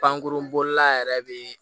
Pankurun la yɛrɛ bɛ